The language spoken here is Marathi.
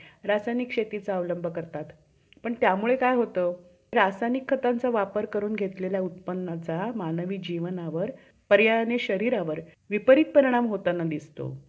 रासायनिक शेतीचा अवलंब करतात. पण त्यामुळे काय होतं रासायनिक खतांचा वापर करून घेतलेल्या उत्पन्नाचा मानवी जीवनावर पर्यायाने शरीरावर विपरीत परिणाम होताना दिसतो.